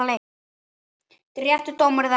Réttur dómur eða ekki?